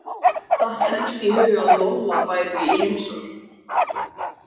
Datt helst í hug að Lolla væri í heimsókn.